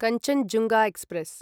Kanchenjunga express